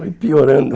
Vai piorando.